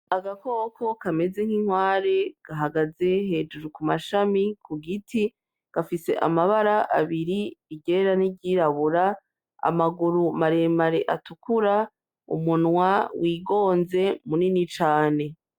Agakoko kameze nk'inkware gahagaze hejuru ku mashami ku Igiti gafise amabara abiri iryera n'iryirabura, amaguru maremare atukura, umunwa wigonze munini cane.